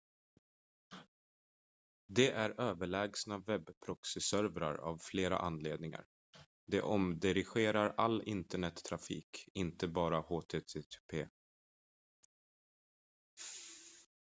de är överlägsna webbproxyservrar av flera anledningar de omdirigerar all internettrafik inte bara http